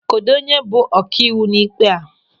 Kedụ onye bụ ọkaiwu n'ịkpe a?